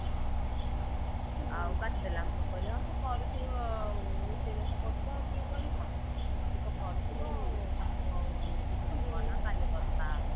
ଆଉ କାଟିଦେଲା ମୁଁ କହିଲି ହଁ ସେ କରୁଥିବ ରୋଷେଇ ବାସ କରୁଥିବ ଆଉ କିଏ କରିବ ଆଉ ସେ ତ କରୁଥିବ ଆଉ ତାକୁ ଆଉ ଏଇନା disturb କରନା କାଲୀ କଥା ହବା।